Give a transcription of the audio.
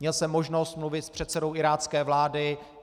Měl jsem možnost mluvit s předsedou irácké vlády.